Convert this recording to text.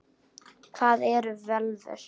Hvað eru völvur?